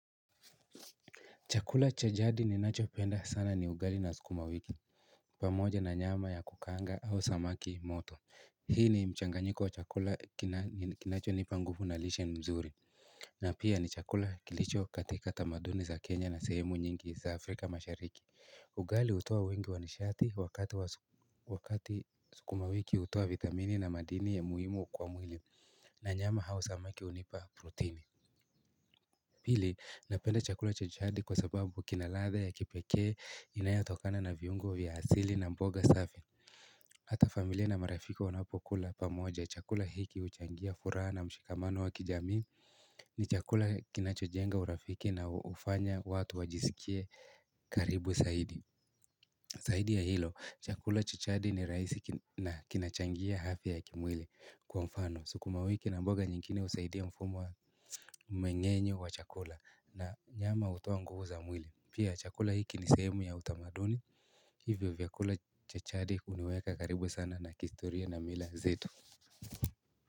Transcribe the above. Chakula cha jadi ninacho kipenda sana ni ugali na sukumawiki. Pamoja na nyama ya kukaanga au samaki moto. Hii ni mchanganyiko wa chakula kinacho nipa nguvu na lishe mzuri. Na pia ni chakula kilicho katika tamaduni za Kenya na sehemu nyingi za Afrika mashariki. Ugali utoa wengi wanashati wakati sukumawiki utoa vitamini na madini ya muhimu kwa mwili. Na nyama au samaki unipa proteni. Pili, napenda chakula cha jadi kwa sababu kinaladha ya kipekee inayatokana na viungo vya asili na mboga safi. Hata familia na marafiki wanapokula pamoja. Chakula hiki huchangia furaha na mshikamano wa kijamii ni chakula kinachojenga urafiki na hufanya watu wajisikie karibu zaidi. Zaidi ya hilo, chakula cha jadi ni rahisi na kinachangia afyia ya kimwili kwa mfano. Sukuma wiki na mboga nyingine husaidia mfumo wa mengenyo wa chakula na nyama hutoa nguvu za mwili Pia chakula hiki ni sehemu ya utamaduni Hivyo vyakula cha jadi huniweka karibu sana na kihistoria na mila zetu.